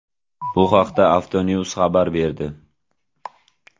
Bu haqda Autonews xabar berdi .